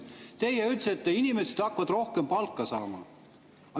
Teie ütlesite, et inimesed hakkavad rohkem palka saama.